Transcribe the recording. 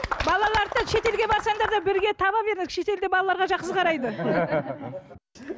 балаларды да шетелге барсаңдар да бірге таба беріңдер шетелде балаларға жақсы қарайды